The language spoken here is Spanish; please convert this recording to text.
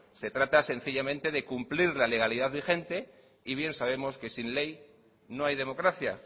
se trata sencillamente de cumplir la legalidad vigente y bien sabemos que sin ley no hay democracia